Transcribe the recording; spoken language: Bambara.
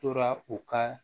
Tora u ka